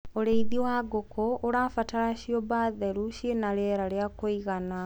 ũrĩithi wa ngũkũ ũrabatara ciũmba theru na ciina riera ria kũigana